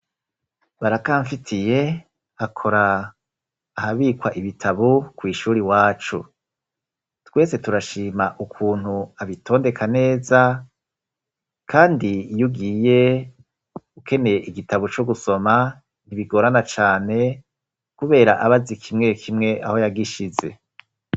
Barakamfitiye akora ahabikwa ibitabo kw'ishure iwacu. Twese turashima ukuntu abitondeka neza kandi iyo ugiye ukeneye igitabo co gusoma ntibigorana cane kubera aba azi kimwe kimwe aho yagishize.